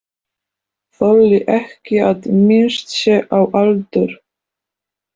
Þolir ekki að minnst sé á aldur.